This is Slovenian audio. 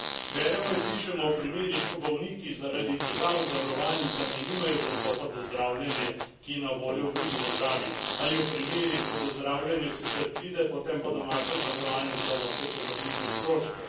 Beremo in slišimo o primerih, ko bolniki zaradi težav z zavarovalnicami nimajo dostopa do zdravljenja, ki je na voljo v drugi državi, ali o primerih, ko do zdravljenja sicer pride, potem pa domača zavarovalnica noče povrniti stroškov.